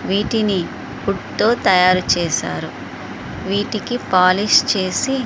వీటిని వుడ్ తో తయారు చేశారు వీటికి పాలిష్ చేసి --